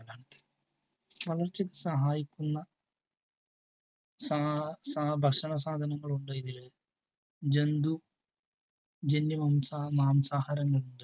വളർച്ചക്ക് സഹായിക്കുന്ന ഭക്ഷണ സാധനങ്ങളൊന്നുമിതില് ജന്തു ജന്യ മാംസാഹാരങ്ങളുണ്ട്.